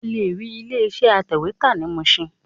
O lè rí ilé iṣẹ́ atẹ̀wẹ́tà ní Mushin